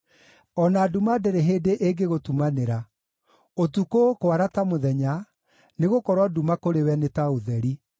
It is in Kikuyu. o na nduma ndĩrĩ hĩndĩ ĩngĩgũtumanĩra; ũtukũ ũkwara ta mũthenya, nĩgũkorwo nduma kũrĩ we nĩ ta ũtheri.